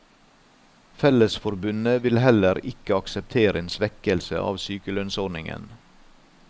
Fellesforbundet vil heller ikke akseptere en svekkelse av sykelønnsordningen.